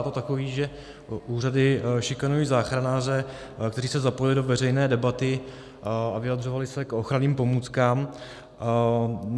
A to takový, že úřady šikanují záchranáře, kteří se zapojili do veřejné debaty a vyjadřovali se k ochranným pomůckám.